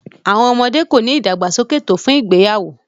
children are not developed enough for marriage